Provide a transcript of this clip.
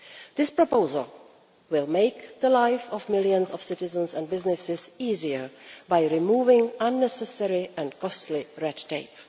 This proposal will make the life of millions of citizens and businesses easier by removing unnecessary and costly red tape.